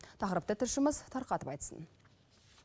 тақырыпты тілшіміз тарқатып айтсын